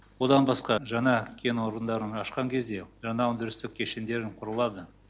одан басқа жаңа кен орындарын ашқан кезде жаңа өндірістік кешендерін құрылады